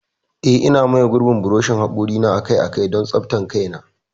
Eh, Ina maye gurbin buroshin hakori na akai-akai don tsaftar kaina.